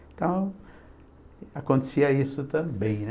Então, acontecia isso também, né?